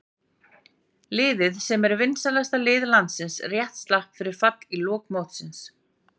Liðið sem er vinsælasta lið landsins rétt slapp við fall í lok mótsins.